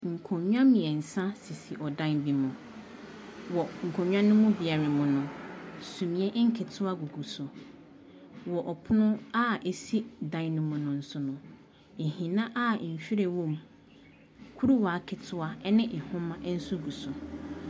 Nkonnwa mmeɛnsa sisi ɔdan bi mu. Wɔ nkonnwa no mu biara mu no, sumiiɛ nketewa gugu so. Wɔ ɔpono a ɛsi dan no mu no so no, nhina a nhwiren wɔ mu, kuruwaa ketewa ne nhoma nso gu so.